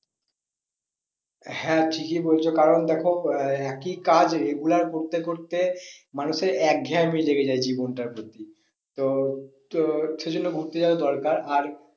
হ্যাঁ ঠিকই বলছো কারণ দেখো আহ একই কাজ regular করতে করতে মানুষের এক ঘেয়ামি লেগে যায় জীবনটার প্রতি তো, তো সে জন্য ঘুরতে যাওয়া দরকার আর